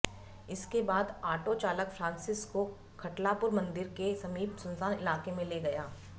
इसके बाद आटो चालक फ्रांसिस को खटलापुरा मंदिर के समीप सुनसान इलाके में ले गया